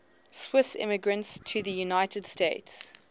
swiss immigrants to the united states